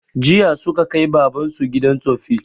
Jiya suka kai baban su gidan tsoffi